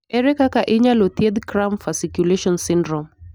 Ere kaka inyalo thiedh cramp fasciculation syndrome?